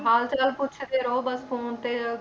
ਹਾਲ ਚਾਲ ਪੁੱਛਦੇ ਰਹੋ ਬਸ phone ਤੇ